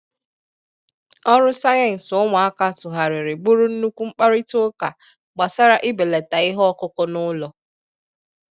Ọrụ sayensị ụmụaka tūghàrịrị bụrụ nnukwu mkparịta ụka gbasara ibelata ihe ọkụkụ n’ụlọ.